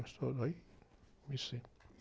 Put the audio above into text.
aí comecei.